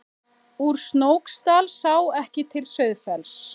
Úr Snóksdal sá ekki til Sauðafells.